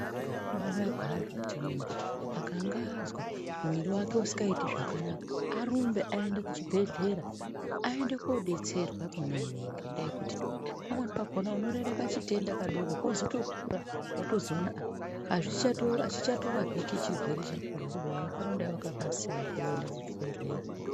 Zvakabainaka hai kuti muntu akangaazwa mwiri wake usikaiti zvakanaka arumbe aende kuchibhedhlera ayende kodetserwa kona ikweyo ngendaa yekuti pamweni pakona unorera kachitenda kadoko doko kozotokura wozotoona achicharapiki chirwere chakona kubeni waifana wakakasira kuenda kuchibhedhleya.